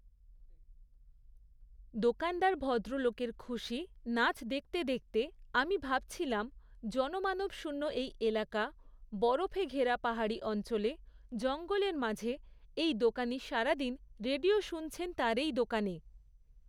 দোকানদার ভদ্রলোকের খুশি, নাচ দেখতে দেখতে আমি ভাবছিলাম জনমানবশূণ্য এই এলাকা, বরফে ঘেরা পাহাড়ি অঞ্চলে, জঙ্গলের মাঝে এই দোকানী সারাদিন রেডিও শুনছেন তার এই দোকানে।